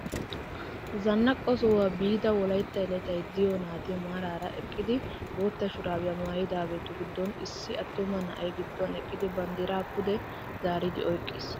Zanaqo sohuwaa biida wolaytta yelatay de'iyo nati maarara eqqidi bootta shurabiyaa maayidaagetu giddon issi attuma na'ay gidduwan eqqidi banddiraa pude zaaridi oyqqiis!